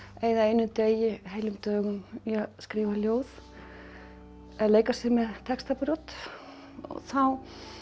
eyða einum degi heilum dögum í að skrifa ljóð eða leika sér með textabrot þá